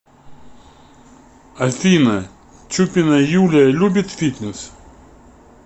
афина чупина юлия любит фитнес